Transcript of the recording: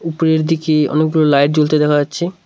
উপরের দিকে অনেকগুলো লাইট জ্বলতে দেখা যাচ্ছে।